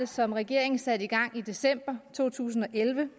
som regeringen satte i gang i december to tusind og elleve